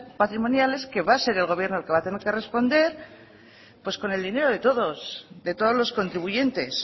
patrimoniales que va a ser el gobierno el que va a tener que responder pues con el dinero de todos de todos los contribuyentes